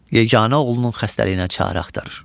Yeganə oğlunun xəstəliyinə çarə axtarır.